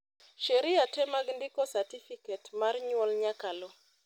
sheria te mag ndiko satifiket mar nyuol nyaka lu